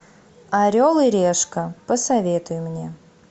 орел и решка посоветуй мне